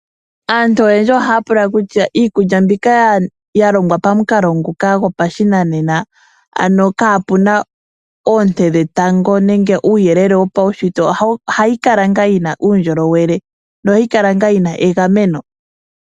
Aantu oyendji ohaya pula kutya iikulya mbika ya longwa pamukalo nguka gopa shinanena, ano kaapuna oonte dhetango, nenge uuyelele wopaushitwe ohayi kala ngaa yina uundjolowele, nohayi kala nga yina egameno?